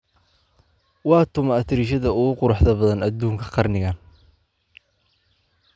waa kuma atariishada ugu quruxda badan aduunka qarnigan